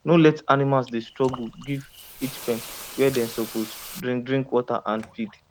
no let animals dey struggle give each pen where they suppose deink deink water and feed